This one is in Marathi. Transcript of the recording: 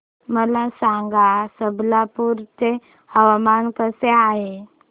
मला सांगा आज संबलपुर चे हवामान कसे आहे